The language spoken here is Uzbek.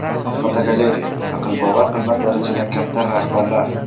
Fotogalereya: Aqlbovar qilmas darajada kamtar rahbarlar.